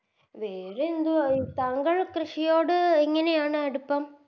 വേറെ എന്തുവാ താങ്കൾ കൃഷിയോട് എങ്ങനെയാണ് അടുപ്പം